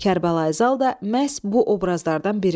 Kərbəlayi Zal da məhz bu obrazlardan biridir.